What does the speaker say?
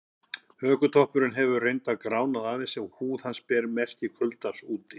Hökutoppurinn hefur reyndar gránað aðeins og húð hans ber merki kuldans úti.